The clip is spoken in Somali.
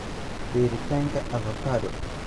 Beeritaanka: avokado